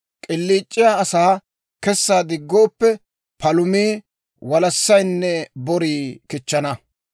K'iliic'iyaa asaa kessa diggooppe, palumii, walassaynne borii kichchana.